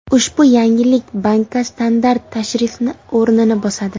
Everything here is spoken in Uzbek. Ushbu yangilik bankka standart tashrifni o‘rnini bosadi.